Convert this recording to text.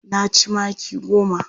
Na ci maki goma.